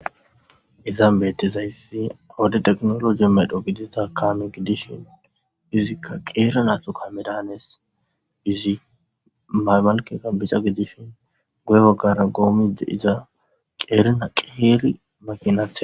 Iza beettezayssi wode teknologi medho gidiza kaame gidishin izikka qeerana thu ka medaanes izi maybalkeka bica gidishin goye gaggara goomide iza qeerina qeeri makinaath.